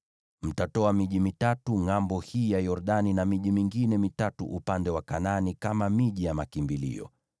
Mtatoa miji mitatu ngʼambo hii ya Yordani na miji mingine mitatu upande wa Kanaani kama miji ya makimbilio.